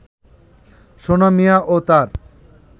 সোনা মিয়া ও তার